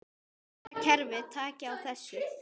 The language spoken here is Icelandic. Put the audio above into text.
Þeirra kerfi taki á þessu.